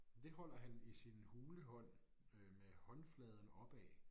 Det holder han i sin hule hånd øh med håndfladen opad